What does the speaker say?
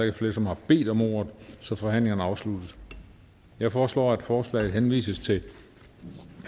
ikke flere som har bedt om ordet så forhandlingen er afsluttet jeg foreslår at forslaget henvises til